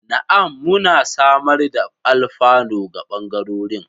Na'am, muna samar da alfano ga bangarorin.